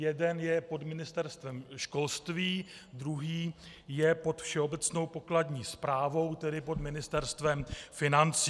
Jeden je pod Ministerstvem školství, druhý je pod Všeobecnou pokladní správou, tedy pod Ministerstvem financí.